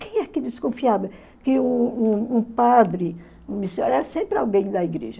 Quem é que desconfiava que um um um padre, era sempre alguém da igreja.